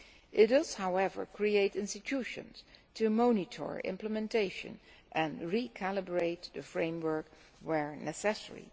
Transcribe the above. It does, however, create institutions to monitor implementation and recalibrate the framework where necessary.